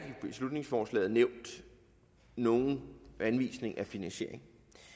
i beslutningsforslaget nævnt nogen anvisninger af finansiering